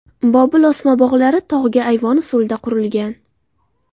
Bobil osma bog‘lari tog‘ga ayvon usulida qurilgan.